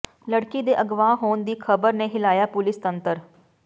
ਲੜਕੀ ਦੇ ਅਗਵਾ ਹੋਣ ਦੀ ਖ਼ਬਰ ਨੇ ਹਿਲਾਇਆ ਪੁਲਿਸ ਤੰਤਰ